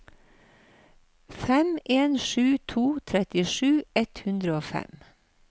fem en sju to trettisju ett hundre og fem